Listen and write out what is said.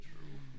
True